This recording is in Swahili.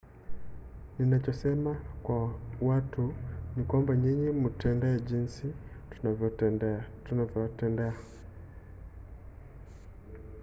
ninachosema kwa watu ni kwamba nyinyi mtutendee jinsi tunavyowatendea